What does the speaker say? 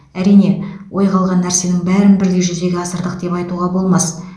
әрине ойға алған нәрсенің бәрін бірдей жүзеге асырдық деп айтуға болмас